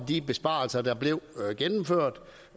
de besparelser der blev gennemført